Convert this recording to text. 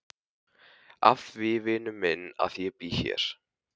Af því vinur minn að ég bý hér.